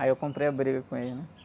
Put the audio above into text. Aí eu comprei a briga com ele, né?